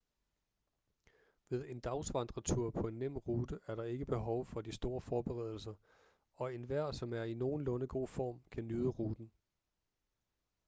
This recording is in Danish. ved en dagsvandretur på en nem rute er der ikke behov for de store forberedelser og enhver som er i nogenlunde god form kan nyde turen